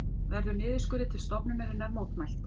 Verður niðurskurði til stofnunarinnar mótmælt